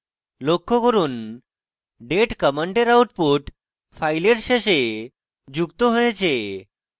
লক্ষ্য করুন date command output file শেষে যুক্ত হয়েছে